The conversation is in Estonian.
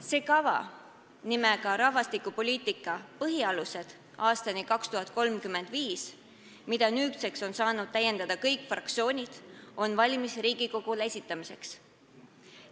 See kava nimega "Rahvastikupoliitika põhialused aastani 2035", mida nüüdseks on saanud täiendada kõik fraktsioonid, on valmis Riigikogule esitamiseks.